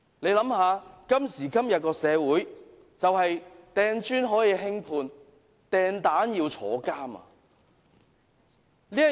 大家想一想，在今時今日的社會，擲磚頭可以輕判，擲蛋卻要坐監。